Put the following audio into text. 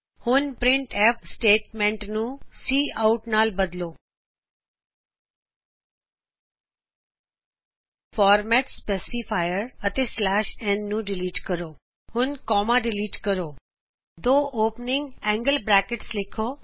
ਹੁਣ printf statement ਨੂੰ cout statement ਨਾਲ ਬਦਲੋ ਫੌਰਮੈਟ ਸਪੈਸਿਫਾਇਰ ਅਤੇ ਸਲੈਸ਼ ਔਨ ਨ ਨੂ ਡਿਲੀਟ ਕਰੋ ਹੁਣ ਕੌਮਾ ਡਿਲੀਟ ਕਰੋ ਦੋ ਖੁੱਲਇਆ ਏੰਗ੍ਲ ਬਰੈਕਟਸ ਲਿਖੋ